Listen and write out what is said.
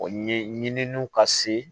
O ye ɲininiw ka se